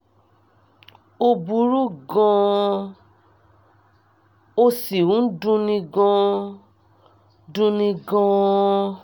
ó burú gan an ó sì ń dunni gan dunni gan an